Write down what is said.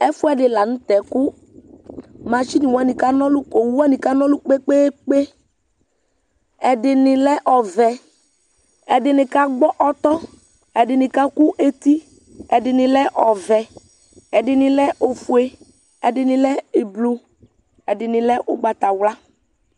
Ɛfʋɛdi lanʋtɛ kʋ mashini wani kana ɔlʋ kʋ owʋ wani kana ɔlʋ kpe kpe kpe ɛdini lɛ ɔvɛ ɛdini kagbɔ ɔtɔ ɛdini kakʋ eti ɛdini lɛ ofʋe ɛdini lɛ ʋblɔ ɛdini lɛ ʋgbatawla